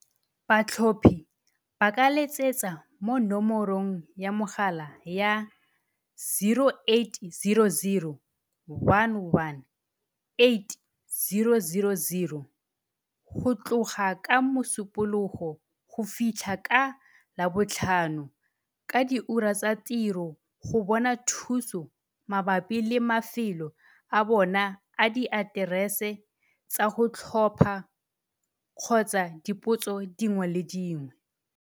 Batlhophi ba ka letsetsa mo nomorong ya mogala ya 0800 11 8000 go tloga ka Mosupologo go fitlhela ka Labotlhano ka diura tsa tiro go bona thuso mabapi le mafelo a bona a diaterese tsa go tlhopha kgotsa dipotso dingwe le dingwe.